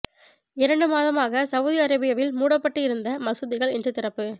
இரண்டு மாதமாக சவுதி அரேபியாவில் மூடப்பட்டு இருந்த மசூதிகள் இன்று திறப்பு